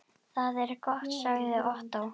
Það er gott sagði Ottó.